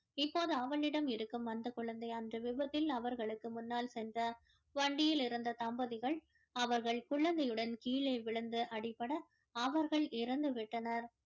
இப்போது அவளிடம் இருக்கும் அந்த குழந்தை அன்று விபத்தில் அவர்களுக்கு முன்னால் சென்ற வண்டியில் இருந்த தம்பதிகள் அவர்கள் குழந்தையுடன் கீழே விழுந்து அடிபட அவர்கள் இறந்து விட்டனர்